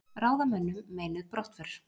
Ráðamönnum meinuð brottför